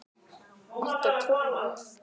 Ertu trúuð?